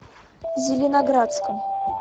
зеленоградском